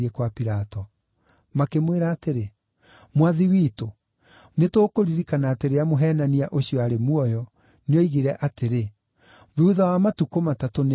Makĩmwĩra atĩrĩ, “Mwathi witũ, nĩtũkũririkana atĩ rĩrĩa mũheenania ũcio aarĩ muoyo. nĩoigire atĩrĩ, ‘Thuutha wa matukũ matatũ nĩngariũka.’